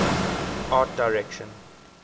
art direction